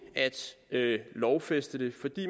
at lovfæste det